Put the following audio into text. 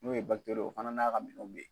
N'o ye ye o fana n'a ka minɛnw bɛ ye.